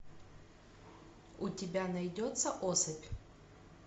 у тебя найдется особь